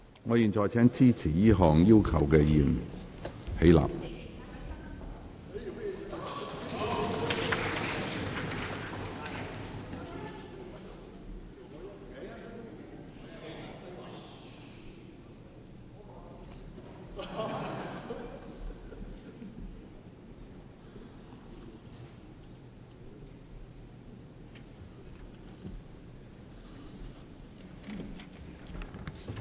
我現在請支持這項要求的議員起立。